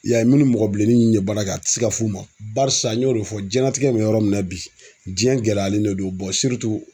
I y'a ye minnu mɔgɔ bilenni min ye baara kɛ a tɛ se ka f'u ma barisa n y'o de fɔ diɲɛlatigɛ bɛ yɔrɔ min na bi diɲɛ gɛlɛyalen de don